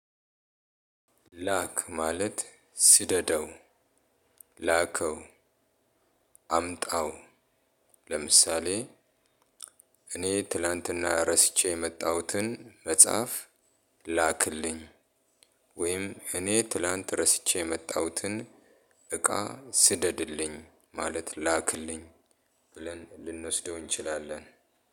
ላክ ማለት ስደደው ላከው አምጣው ለምሳሌ እኔ ትላንትና ረስቼ የመጣሁትን መጽሐፍ ላክልኝ ወይም እኔ ትላንት ረስቼ የመጣሁትን እቃ ስደድልኝ ማለት ላክልኝ። ብለን ልንወስደው እንችላለን።